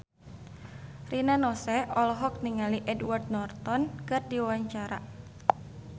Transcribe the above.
Rina Nose olohok ningali Edward Norton keur diwawancara